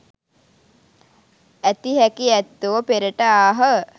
ඇති හැකි ඇත්තෝ පෙරට ආහ